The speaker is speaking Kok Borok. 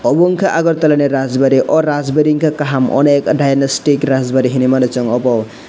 obo ungka agartala ni rajbari o rajbari ungka kaham onek dainostick rajbari hinui mano obo.